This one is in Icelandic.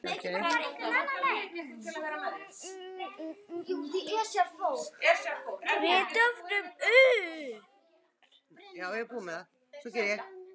Við dofnum upp.